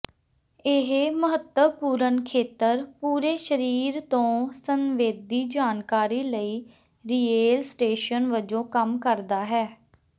ਇਹ ਮਹੱਤਵਪੂਰਣ ਖੇਤਰ ਪੂਰੇ ਸਰੀਰ ਤੋਂ ਸੰਵੇਦੀ ਜਾਣਕਾਰੀ ਲਈ ਰੀਲੇਅ ਸਟੇਸ਼ਨ ਵਜੋਂ ਕੰਮ ਕਰਦਾ ਹੈ